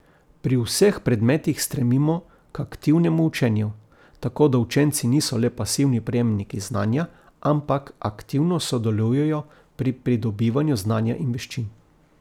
Pri vseh predmetih stremimo k aktivnemu učenju, tako da učenci niso le pasivni prejemniki znanja, ampak aktivno sodelujejo pri pridobivanju znanja in veščin.